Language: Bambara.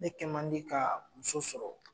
Ne kɛmandi ka muso sɔrɔ.